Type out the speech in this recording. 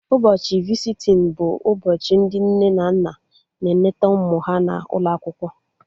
Ụbọchị visitin bụ ụbọchị ndị nne na nna na-eneta ụmụ ha n'ụlọ akwụkwọ